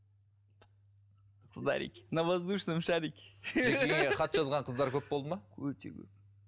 қыздарики на воздушном шарики хат жазған қыздар көп болдыма өте көп